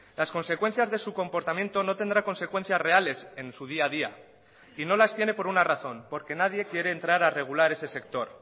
las consecuencias de su comportamiento no tendrá consecuencias reales en su día a día y no las tiene por una razón porque nadie quiere entrar a regular ese sector